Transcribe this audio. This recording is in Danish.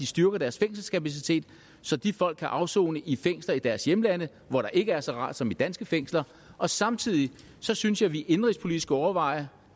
styrker deres fængselskapacitet så de folk kan afsone i fængsler i deres hjemlande hvor der ikke er så rart som i danske fængsler og samtidig synes jeg vi indenrigspolitisk skulle overveje